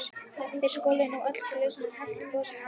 Þeir skoluðu nú öll glösin og helltu gosinu á þau.